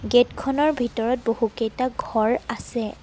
গেটখনৰ ভিতৰত বহুকেটা ঘৰ আছে।